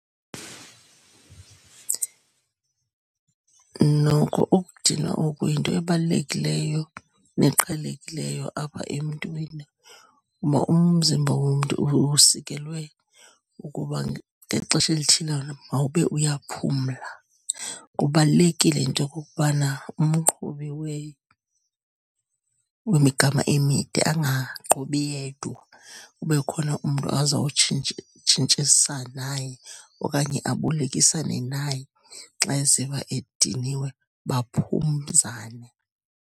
Noko ukudinwa oku yinto ebalulekileyo neqhelekileyo apha emntwini, umzimba womntu usikelwe ukuba ngexesha elithile mawube uyaphumla. Kubalulekile into yokokubana umqhubi wemigama emide angaqhubi yedwa, kube khona umntu tshintshisa naye okanye abolekisane naye xa eziva ediniwe, baphumzane.